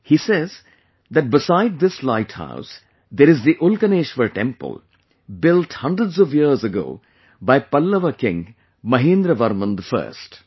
He says that beside this light house there is the 'Ulkaneshwar' temple built hundreds of years ago by Pallava king MahendraVerman First